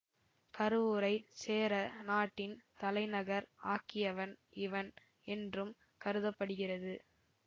கருவூரைச் சேர நாட்டின் தலைநகர் ஆக்கியவன் இவன் என்றும் கருத படுகிறது